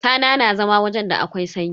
Tana na zama wajen da akwai sanyi.